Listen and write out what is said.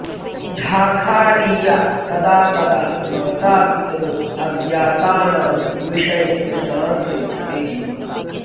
झाखारिया तदा तदा मतापितरौ अज्ञातानां विषये प्रश्नान् पृच्छति स्म